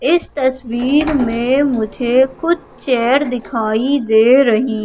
इस तस्वीर में मुझे कुछ चेयर दिखाई दे रही--